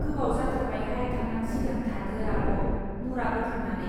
गोबाव जाथारबाय हाय थांनांसिगोन थादो आब मुरा बोखांनानै.